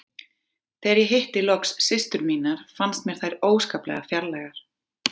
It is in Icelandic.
Þegar ég hitti loks systur mínar fannst mér þær óskaplega fjarlægar.